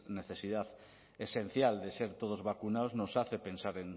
necesidad esencial de ser todos vacunados nos hace pensar